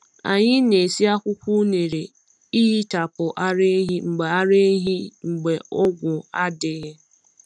Anyị na-esi akwụkwọ unere ehichapụ ara ehi mgbe ara ehi mgbe ọgwụ adịghị.